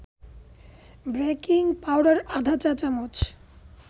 baking powder আধা চা-চামচ